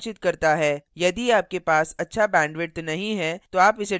यदि आपके पास अच्छा bandwidth नहीं है तो आप इसे download करके भी देख सकते हैं